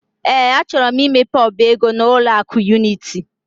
Ee, achọrọ m imepe ọba ego n'ụlọ akụ Unity.